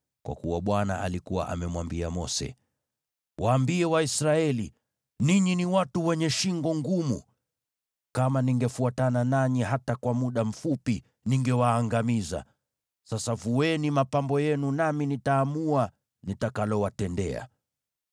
Kwa kuwa Bwana alikuwa amemwambia Mose, “Waambie Waisraeli, ‘Ninyi ni watu wenye shingo ngumu. Kama ningefuatana nanyi hata kwa muda mfupi, ningewaangamiza. Sasa vueni mapambo yenu, nami nitaamua nitakalowatendea.’ ”